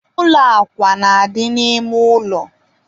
ụlọ akwa na-adị n'ime ụlọ